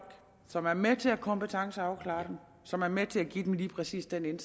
som er med til at kompetenceafklare dem og som er med til at give dem lige præcis den